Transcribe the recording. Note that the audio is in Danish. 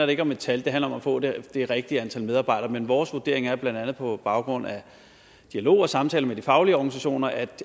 det ikke om et tal det handler om at få det rigtige rigtige antal medarbejdere men vores vurdering er blandt andet på baggrund af dialog og samtaler med de faglige organisationer at